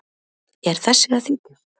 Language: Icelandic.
Er þessi að þykjast?